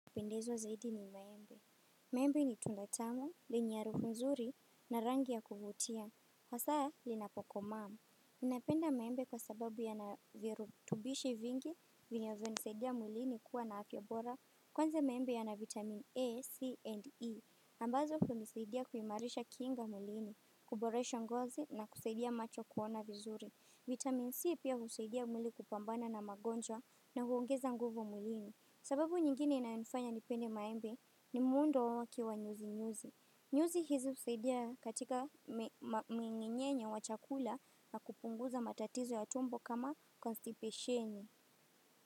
Kupendezwa zaidi ni maembe. Maembe ni tunda tamu, lenye harufu nzuri na rangi ya kuvutia. Hasa linapokoma. Ninapenda maembe kwa sababu ya na virutubishi vingi vinavyo nisaidia mwilini kuwa na afya bora. Kwanza maembe ya na vitamin A, C and E. Ambazo hunisaidia kuimarisha kinga mwilini, kuboresha ngozi na kusaidia macho kuona vizuri. Vitamin C pia hunisaidia mwili kupambana na magonjwa na huongeza nguvu mwilini. Sababu nyingine inayonifanya nipende maembe ni mwundo wake wa nyuzi nyuzi. Nyuzi hizi husaidia katika minginyenye wa chakula na kupunguza matatizo ya tumbo kama konstipeshenye.